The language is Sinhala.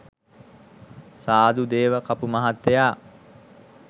සාදු, දේව කපු මහත්තයා